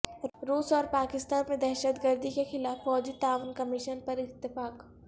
روس اور پاکستان میں دہشت گردی کے خلاف فوجی تعاون کمشن پر اتفاق